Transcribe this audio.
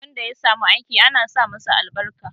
Wanda ya samu aiki ana sa masa albarka